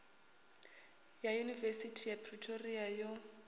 ya yunivesithi ya pretoria yo